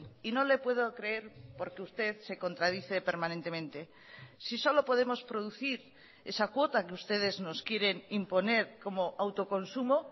y no le puedo creer porque usted se contradice permanentemente si solo podemos producir esa cuota que ustedes nos quieren imponer como autoconsumo